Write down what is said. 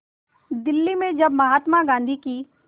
दिल्ली में जब महात्मा गांधी की